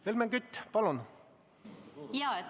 Helmen Kütt, palun!